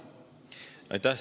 Aitäh!